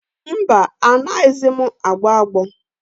Mba, anaghịzi m agbọ agbọ.